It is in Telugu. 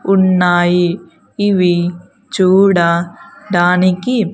ఉన్నాయి ఇవి చూడ డానికి.